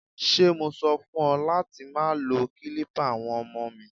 Ṣé mo sọ fún ọ láti má lo kilipa àwọn ọmọ mi?